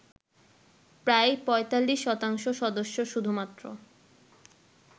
প্রায় ৪৫ শতাংশ সদস্য শুধুমাত্র